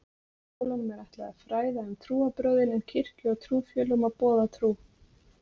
Skólanum er ætlað að fræða um trúarbrögðin en kirkju og trúfélögum að boða trú.